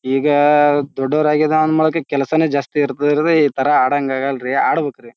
ಈಗಾ ದೊಡ್ಡೋರ್ ಆಗಿದಾಂದ್ ಮಳ್ಕೆ ಕೆಲ್ಸನೆ ಜಾಸ್ತಿ ಇರ್ತದೆ ರೀ ಈ ತರ ಅಡಂಗ್ ಆಗಲ್ರೀ ಆಡ್ಬೇಕ್ರಿ.